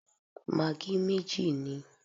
Magí méjì níi